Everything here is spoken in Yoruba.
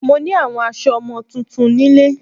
Mo ní àwọn aso ọmọ tuntun nílé